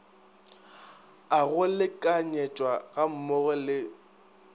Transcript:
a go lekanyetšwa gammogo le